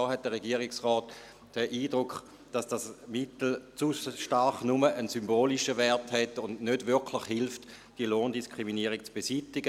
Da hat der Regierungsrat den Eindruck, dass dieses Mittel zu stark nur einen symbolischen Wert hat und nicht wirklich hilft, die Lohndiskriminierung zu beseitigen.